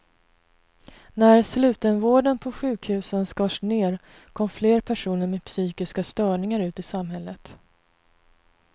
När slutenvården på sjukhusen skars ner kom fler personer med psykiska störningar ut i samhället.